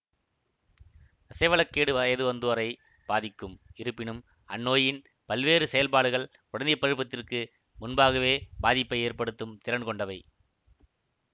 தசைவள கேடு வயது வந்தோரை பாதிக்கும் இருப்பினும் அந்நோயின் பல்வேறு செயல்பாடுகள் குழந்தை பருவத்திற்கு முன்பாகவே பாதிப்பை ஏற்படுத்தும் திறன் கொண்டவை